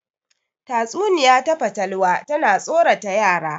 Tatsuniya ta fatalwa tana tsorata yara